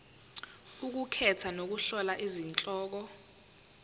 ukukhetha nokuhlola izihloko